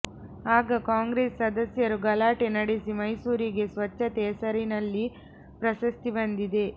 ಆಗ ಕಾಂಗ್ರೆಸ್ ಸದಸ್ಯರು ಗಲಾಟೆ ನಡೆಸಿ ಮೈಸೂರಿಗೆ ಸ್ವಚ್ಛತೆ ಹೆಸರಿನಲ್ಲಿ ಪ್ರಶಸ್ತಿ ಬಂದಿದೆ